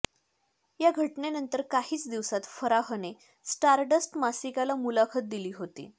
या घटनेनंतर काहीच दिवसांत फराहने स्टारडस्ट मासिकाला मुलाखत दिली होती